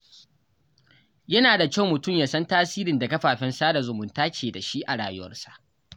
Yana da kyau mutum ya san tasirin da kafafen sada zumunta ke da shi a rayuwarsa.